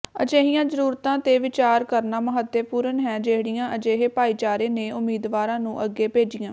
ਅਜਿਹੀਆਂ ਜ਼ਰੂਰਤਾਂ ਤੇ ਵਿਚਾਰ ਕਰਨਾ ਮਹੱਤਵਪੂਰਨ ਹੈ ਜਿਹੜੀਆਂ ਅਜਿਹੇ ਭਾਈਚਾਰੇ ਨੇ ਉਮੀਦਵਾਰਾਂ ਨੂੰ ਅੱਗੇ ਭੇਜੀਆਂ